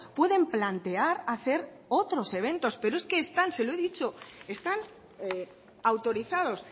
pueden plantear hacer otros eventos pero es que están se lo he dicho están autorizados